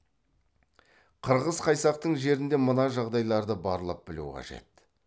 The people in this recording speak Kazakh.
қырғыз қайсақтың жерінде мына жағдайларды барлап білу қажет